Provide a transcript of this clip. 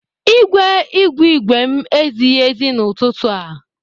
Igwe igwe igwe m ezighi ezi n'ụtụtụ a.